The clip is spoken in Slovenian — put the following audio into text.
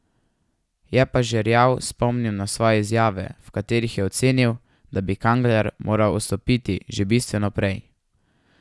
Je pa Žerjav spomnil na svoje izjave, v katerih je ocenil, da bi Kangler moral odstopiti že bistveno prej.